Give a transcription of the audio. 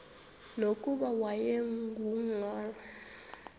nokuba wayengu nqal